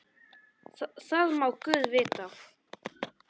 Það má guð vita.